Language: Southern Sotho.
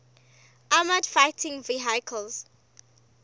armoured fighting vehicles